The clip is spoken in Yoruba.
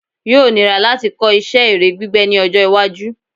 Yóò níra láti kọ́ isẹ́ ère gbígbẹ́ ní ọjọ́-iwájú.